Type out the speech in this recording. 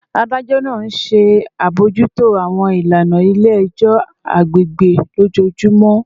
Adajọ naa nṣe abojuto awọn ilana ni ile-ẹjọ agbegbe lojoojumọ